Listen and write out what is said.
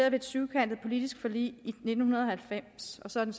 et syvkantet politisk forlig i nitten halvfems og så er den